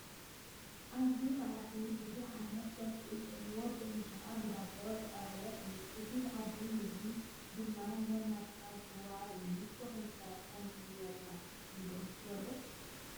ኣብዚ ማኣዲ ብዙሕ ዓይነት ፀብሒ ዘለዎ ብእንጀራን ብዳቦን ዝተቐረበ እዩ፡፡ እዚ ማኣዲ ምግቢ ድማ ነናትካ ዝዋሃብ እዩ፡፡ ንስኹም ከ ከምዚ ዝበለ ምግቢ ዶ ትበልዑ?